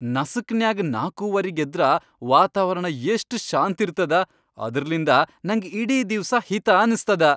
ನಸಿಕ್ನ್ಯಾಗ್ ನಾಕೂವರಿಗ್ ಎದ್ರ ವಾತಾವರಣ ಎಷ್ಟ ಶಾಂತಿರ್ತದ, ಅದ್ರ್ಲಿಂದ ನಂಗ್ ಇಡೀ ದಿವ್ಸ ಹಿತಾ ಅನಸ್ತದ.